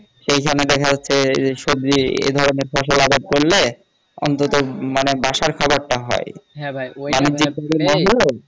সেখানে দেখা যাচ্ছে সবজি এধরনের ফসল আবাদ করলে অন্তত মানে বাসার খাবার টা হয়